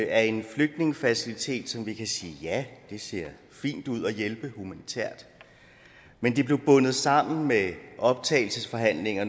af en flygtningefacilitet vi kan sige at ja det ser fint ud at hjælpe humanitært men det blev bundet sammen med optagelsesforhandlinger